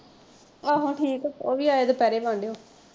ਆਹੋ ਠੀਕ ਉਹਵੀ ਆਏ ਦੁਪਹਿਰੇ ਵਾਂਢੇਓ।